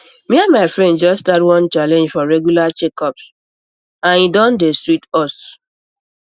me and my friends just start one challenge for regular checkups ah and e don dey sweet us